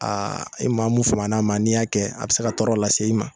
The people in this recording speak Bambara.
i maa mun faman'a ma n'i y'a kɛ a bɛ se ka tɔɔrɔ lase i ma.